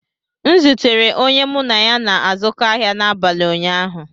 M zutere onye mụ na ya na-azụkọ ahịa n'abalị ụnyaahụ